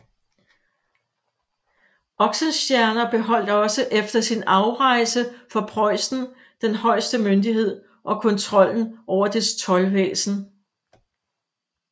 Oxenstierna beholdt også efter sin afrejse fra Preussen den højeste myndighed og kontrollen over dets toldvæsen